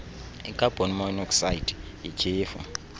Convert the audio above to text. ikhabhoni monokhsayidi yityhefu